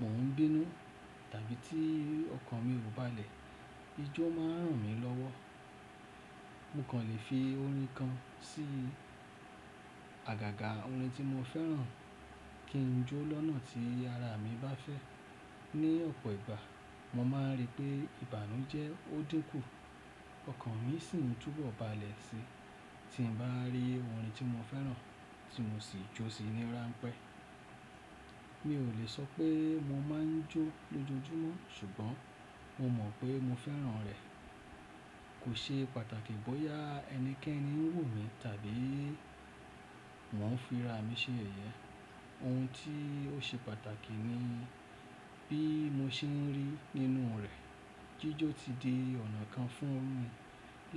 mò ń bínú tàbí tí ọkàn mi ò bá le, ijó má ń ràn mí lọ́wọ́. Mo kàn lè fi orin kan sí àgàgà orin tí mo fẹ́ràn kí n jó lọ́nà tí ara mi bá fẹ́. Ni ọ̀pọ̀ ìgbà, mo má ń rí pé ìbànú jẹ́ ó dínkù, ọkàn mi sì ń túbọ̀ ba lẹ̀ sí i. Tí n bá rí orin tí mo fẹ́ràn tí mo sì jó sí i ní rańpẹ́. Mi ò lè sọ pé mo má ń jó lójoojúmọ́ ṣùgbọ́n mo mọ̀ pé mo fẹ́ràn rẹ̀. Kò ṣe pàtàkì bóyá ẹnikẹ́ni ń wò mí tàbí mò ń fi ra mi ṣe yeyẹ́. Ohun tí ó ṣe pàtàkì ni bí mo ṣe ń rí nínú rẹ̀. Jíjó ti di ọ̀nà kan fún mi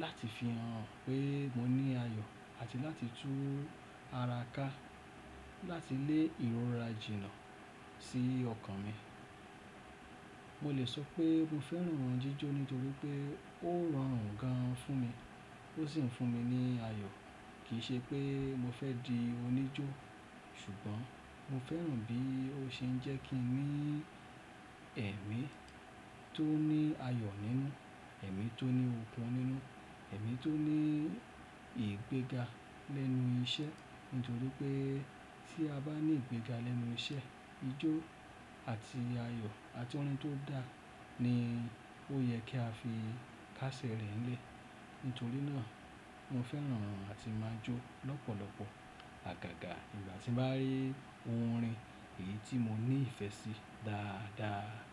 láti fi hàn pé mo ní ayọ̀ àti láti tú ara ká, láti lé ìrora jìnnà sí ọkàn mi. Mo lè sọ pé mo fẹ́ràn jíjó nítorí pé ó rọrùn gan fún mi, ó sì ń fún mi ní ayọ̀. Kì í ṣe pé mo fẹ́ di oníjó, ṣùgbọ́n mo fẹ́ràn bí ó ṣe ń jẹ́ kí n rí ẹ̀mí tó ní ayọ̀ nínú, ẹ̀mí tó ní òkun nínú, ẹ̀mí tó ní ìgbéga lẹ́nu iṣẹ́. Nítorí pé tí a bá ní ìgbéga lẹ́nu iṣẹ́, ijó àti ayọ̀ àti orin tó dá ni ó yẹ kí a fi kásẹ̀ rẹ̀ ń lé. Nítorí náà, mo fẹ́ràn àti máa jó lọ́pọ̀lọpọ̀ àgàgà ìgbà tí n bá rí orin èyí tí mo ní ìfẹ́ sí dáadáa.